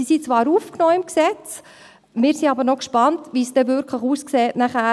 Sie sind zwar im Gesetz aufgenommen, aber wir sind noch gespannt, wie es danach aussehen wird.